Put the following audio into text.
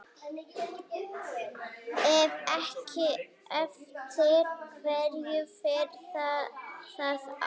Ef ekki, eftir hverju fer það þá?